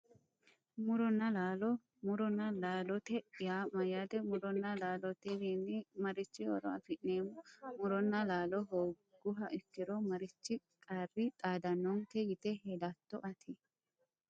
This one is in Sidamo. Muronna laalo muronna laalote yaa mayyaate muronnna laalotewiinni marichi horo afi'neemmo muronna laalo hoogguha ikkiro marichi qarri xaadannonke yite hedatto ati